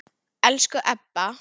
Elsku Ebba.